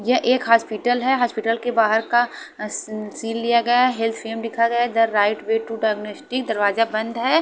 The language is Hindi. ये एक हॉस्पिटल हैं हॉस्पिटल के बाहर का सी सीन लिया गया हैं हेल्थ फेम लिखा गया गया हैं the right way to diagnostic दरवाजा बंद हैं।